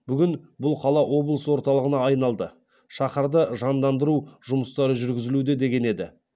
бүгін бұл қала облыс орталығына айналды шаһарды жандандыру жұмыстары жүргізілуде деген еді